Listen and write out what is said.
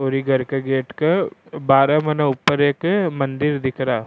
और ये घर के गेट के बाहर मैंने ऊपर एक मंदिर दिख रा।